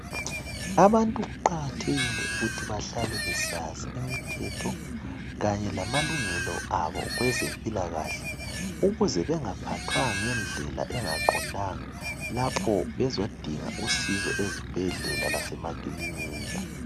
Abantu kuqakathekile ukuthi bahlale besazi imithetho kanye lamalungelo abo kwezempilakahle ukuze bengaphathwa ngendlela engaqondanga lapho bezodinga usizo ezibhedlela lasemakilinika.